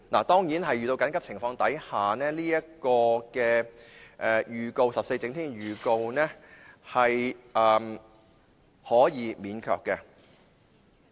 當然，在遇到緊急情況時 ，14 整天前的預告是可以免卻的。